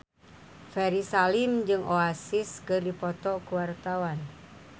Ferry Salim jeung Oasis keur dipoto ku wartawan